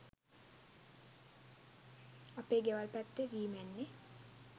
අපේ ගෙවල් පැත්තෙ වී මැන්නෙ